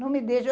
Não me deixam.